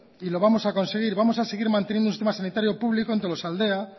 y lo vamos a conseguir vamos a seguir manteniendo un sistema sanitario público en tolosaldea